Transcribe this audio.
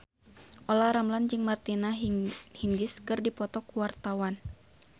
Olla Ramlan jeung Martina Hingis keur dipoto ku wartawan